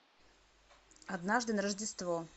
однажды на рождество